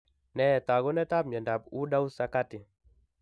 Nee taakunetaab myondap woodhouse sakati?